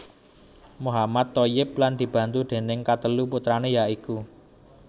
Mohammad Thoyyib lan dibantu déning katelu putrané ya iku